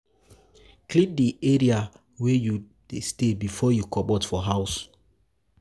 Clean di area wey you dey stay before you comot for house